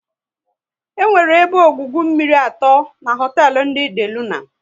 E nwere ebe ọgwụgwụ mmiri atọ n'hotelu ndị De Luna